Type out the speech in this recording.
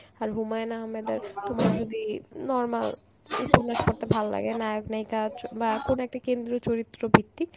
আর হুমায়ূন আহাম্মেদের তোমার যদি normal উপন্যাস পড়তে ভাললাগে নায়ক নায়িকা য~ বা কোন একটা কেন্দ্র চরিত্র ভিত্তিক,